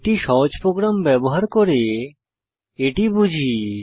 একটি সহজ প্রোগ্রাম ব্যবহার করে এটি বুঝি